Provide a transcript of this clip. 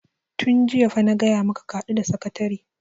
tun jiya fa na gaya maka ka haɗu da sakatare!